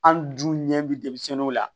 An dun ɲɛ bi denmisɛnninw la